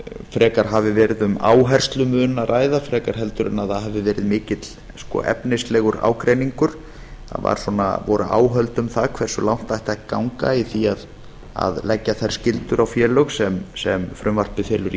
frekar hafi verið um áherslumun að ræða en að það hafi verið mikill efnislegur ágreiningur það voru áhöld um það hversu langt ætti að ganga í því að leggja þær skyldur á félög sem frumvarpið felur í